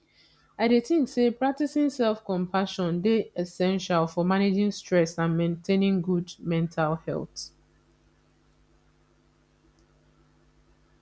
i dey think say practicing selfcompassion dey essential for managing stress and maintaining good mental health